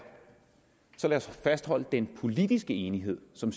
så lad os fastholde den politiske enighed som